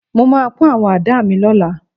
Mo máa pọ́n àwọn àdá mi lọ́la